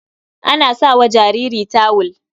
An sa jariri a tawul.